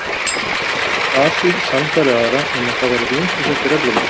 Fasið sannfærði aðra um að það væri hún sem setti reglurnar.